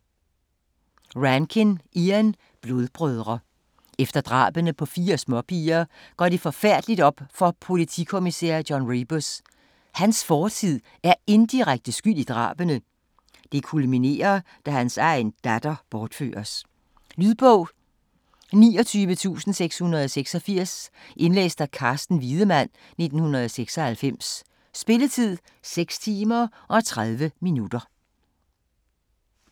Rankin, Ian: Blodbrødre Efter drabene på fire småpiger går det forfærdelige op for politikommissær John Rebus: hans fortid er indirekte skyld i drabene. Det kulminerer, da han egen datter bortføres. Lydbog 29686 Indlæst af Carsten Wiedemann, 1996. Spilletid: 6 timer, 30 minutter.